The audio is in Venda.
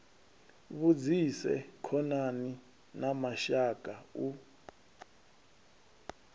vhudzise khonani na mashaka u